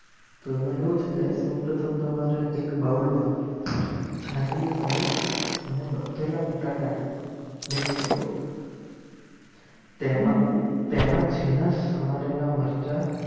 તેમાં એવું છે સૌપ્રથમ તમારે એક બાઉલમાં છણાનું પનીર અને બાફેલા બટાકાને mix કરો તેમાં તેમના જીના સમારેલા મરચા